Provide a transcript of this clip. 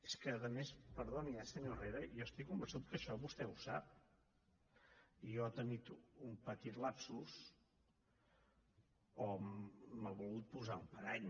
és que a més perdoni eh senyor herrera jo estic convençut que això vostè ho sap i deu haver tingut un petit lapsus o m’ha volgut posar un parany